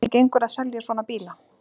Hvernig gengur að selja svona bíla?